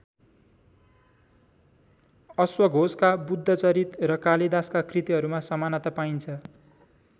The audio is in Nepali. अश्वघोषका बुद्धचरित र कालिदासका कृतिहरूमा समानता पाइन्छ ।